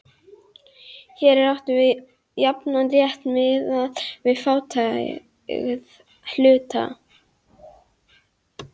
Hér er átt við jafnan rétt miðað við fjárhæð hluta.